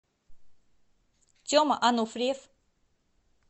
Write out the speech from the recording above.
тема ануфриев